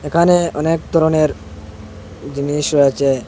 একানে অনেক ধরনের জিনিস রয়েছে।